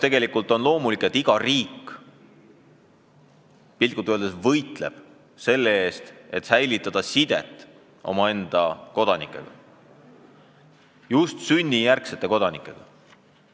Tegelikult on loomulik, et iga riik piltlikult öeldes võitleb selle eest, et hoida sidet oma kodanikega, just sünnijärgsete kodanikega.